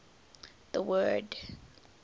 the word